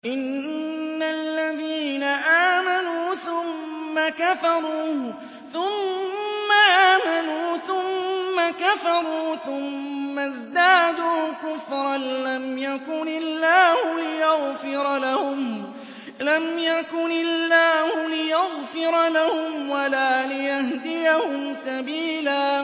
إِنَّ الَّذِينَ آمَنُوا ثُمَّ كَفَرُوا ثُمَّ آمَنُوا ثُمَّ كَفَرُوا ثُمَّ ازْدَادُوا كُفْرًا لَّمْ يَكُنِ اللَّهُ لِيَغْفِرَ لَهُمْ وَلَا لِيَهْدِيَهُمْ سَبِيلًا